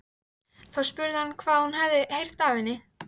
Þá spurði hann hvað hún hefði heyrt af henni.